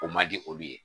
O man di olu ye